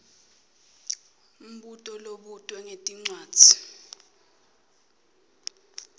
mbuto lobutwe ngetincwadzi